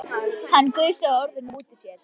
Hann gusaði orðunum út úr sér.